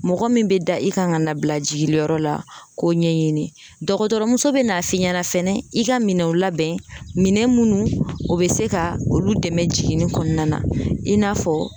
Mɔgɔ min bɛ da i kan ka na bila jiginliyɔrɔ la k'o ɲɛɲini dɔgɔtɔrɔmuso bɛ n'a f'i ɲɛna fɛnɛ i ka minɛnw labɛn minɛn munnu o be se ka olu dɛmɛ jiginni kɔnɔna na i n'a fɔ